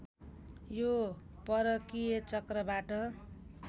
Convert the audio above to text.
यो परकीय चक्रबाट